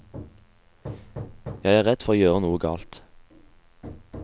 Jeg er redd for å gjøre noe galt.